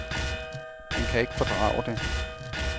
Han kan ikke fordrage det.